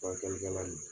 Furakɛlikɛla ye